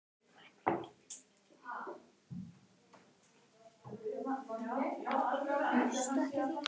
Eiga leikmenn að sparka boltanum útaf?